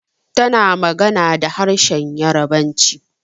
Tana magana da harshenn Yarabanci.